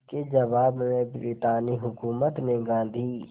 इसके जवाब में ब्रितानी हुकूमत ने गांधी